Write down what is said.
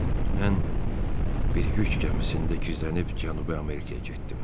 Mən bir yük gəmisində gizlənib Cənubi Amerikaya getdim.